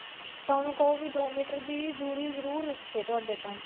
ਤਾਂ ਉਹਨੂੰ ਕਹੋ ਵੀ ਦੋ ਮੀਟਰ ਦੀ ਦੂਰੀ ਜਰੂਰ ਰੱਖੇ ਤੁਹਾਡੇ ਤੋਂ